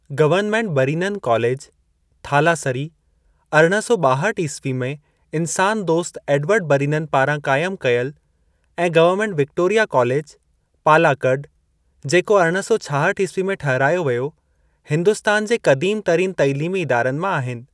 Government Brennen कालेजु, थालासरी, अरिड़हं सौ ॿाहठ ईस्वी में इन्सानु दोस्तु एडवर्ड बरीनन पारां क़ाइमु कयल, ऐं गवर्नमेंट विक्टोरिया कालेजु, पालाकड, जेको अरिड़हं सौ छाहठ ईस्वी में ठहिरायो वियो, हिन्दुस्तान जे क़दीम तरीन तइलीमी इदारनि मां आहिनि।